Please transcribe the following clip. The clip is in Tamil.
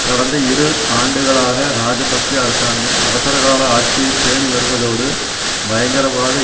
கடந்த இரு ஆண்டுகளாக ராஜபக்ஷ அரசாங்கம் அவசரகால ஆட்சியை பேணிவருவதோடு பயங்கரவாத